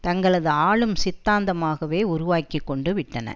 தங்களது ஆளும் சித்தாந்தமாகவே உருவாக்கி கொண்டு விட்டன